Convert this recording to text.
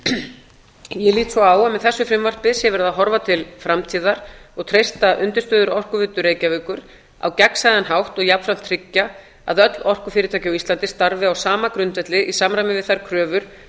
lít svo á að með þessu frumvarpi sé verið að horfa til framtíðar og treysta undirstöður orkuveitu reykjavíkur á gegnsæjan hátt og jafnframt tryggja að öll orkufyrirtæki á íslandi starfi á sama grundvelli í samræmi við þær kröfur